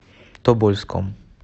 тобольском